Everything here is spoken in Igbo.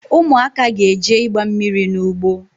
Ụmụaka ga-eje ịgba mmiri n’ugbo